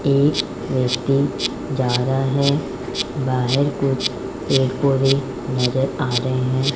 एक व्यक्ति जा रहा है बाहर कुछ पेड़ पौधे नजर आ रहे हैं।